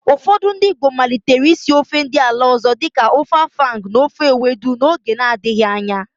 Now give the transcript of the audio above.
Ụfọdị ndị Igbo malitere ísí ofe ndị ala ọ̀zọ́ dịka ofe afang na ofe ewedu n'oge na-adịghị anya.